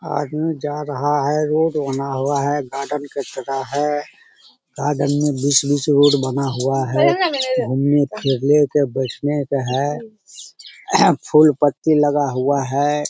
आदमी जा रहा है रोड बना हुआ है गार्डन के तरह है गार्डन में बीच-बीच से रोड बना हुआ है घूमने फिरने के बइठने के है फूल-पत्ती लगा हुआ है।